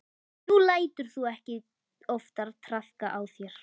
Nú lætur þú ekki oftar traðka á þér.